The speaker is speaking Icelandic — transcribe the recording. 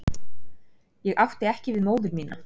Ég átti ekki við móður mína.